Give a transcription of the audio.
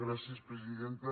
gràcies presidenta